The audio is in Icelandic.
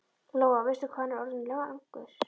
Lóa: Veistu hvað hann er orðinn langur?